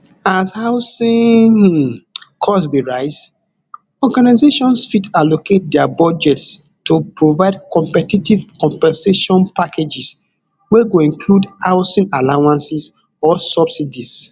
as housing um cost dey rise organizations fit allocate dia budgets to provide competitive compensation packages wey go include housing allowances or subsidies